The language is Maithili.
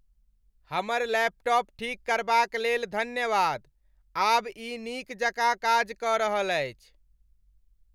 हमर लैपटॉप ठीक करबाक लेल धन्यवाद। आब ई नीक जकाँ काज कऽ रहल अछि।